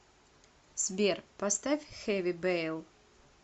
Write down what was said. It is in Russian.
сбер поставь хэви бэйл